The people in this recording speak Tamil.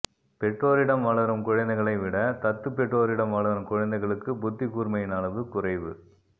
பெற்றோரிடம் வளரும் குழந்தைகளை விட தத்துப் பெற்றோரிடம் வளரும் குழந்தைகளுக்கு புத்திக் கூர்மையின் அளவு குறைவு